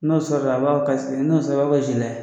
N'o sɔrɔla a b'a fɔ ko n'o sɔrɔla a b'a ko .